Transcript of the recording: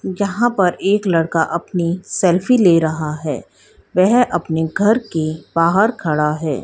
यहां पर एक लड़का अपनी सेल्फी ले रहा है वह अपने घर के बाहर खड़ा है।